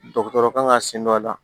Dɔgɔtɔrɔ kan ka sen don a la